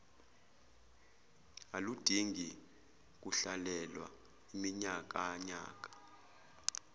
aludingi kuhlalelwa iminyakanyaka